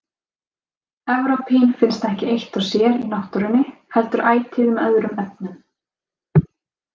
Evrópín finnst ekki eitt og sér í náttúrunni heldur ætíð með öðrum efnum.